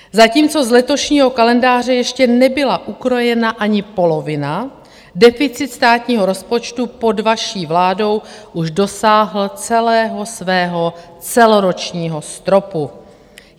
Zatímco z letošního kalendáře ještě nebyla ukrojena ani polovina, deficit státního rozpočtu pod vaší vládou už dosáhl celého svého celoročního stropu.